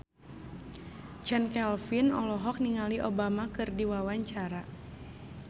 Chand Kelvin olohok ningali Obama keur diwawancara